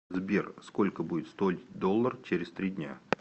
сбер сколько будет стоить доллар через три дня